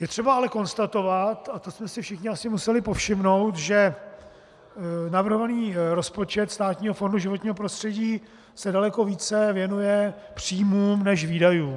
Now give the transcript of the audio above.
Je třeba ale konstatovat, a to jste si všichni asi museli povšimnout, že navrhovaný rozpočet Státního fondu životního prostředí se daleko více věnuje příjmům než výdajům.